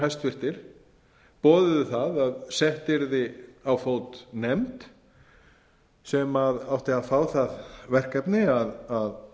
hæstvirtir ráðherrar boðuðu að sett yrði á fót nefnd sem átti að fá það verkefni að